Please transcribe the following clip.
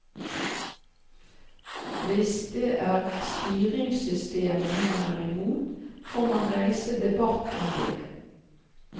Hvis det er styringssystemet man er imot, får man reise debatt om det.